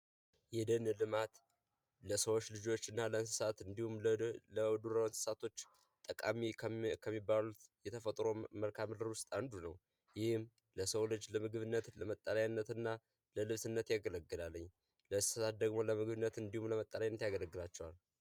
የደን ልማት ለሰው ልጆች እና ለእንሰሳት እንዲሁም ለዱር እንስሳት ጠቃሚ ከሚባሉት የተፈጥሮ መልካምድር ውስጥ አንዱ ነው። ይህም ለሰው ልጅ ለምግብነት ለመጠለያ እና ለልብስነት ያገለግላል። ለእንስሳት ደግሞ ለምግብነት እንዲሁም ለመጠለያነት ያገለግላቸዋል።